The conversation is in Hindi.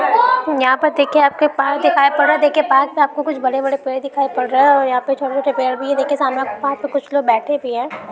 यहाँ पर देखिए आप को पार्क दिखाई पड़ रहा है। देखिये पार्क में आपको कुछ बड़े-बड़े पेड़ दिखाई पड़ रहे है और यहाँ पे छोटे-छोटे पेड़ भी है। देखिए सामने आप को पार्क मे कुछ लोग बैठे भी हैं।